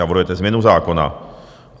Navrhujete změnu zákona.